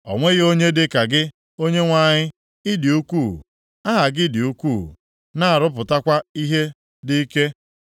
O nweghị onye dịka gị, Onyenwe anyị. Ị dị ukwuu. Aha gị dị ukwuu, na-arụpụtakwa ihe dị ike.